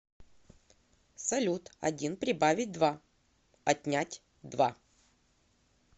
салют один прибавить два отнять два